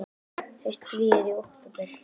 Haustfríið er í október.